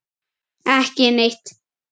Ekki neitt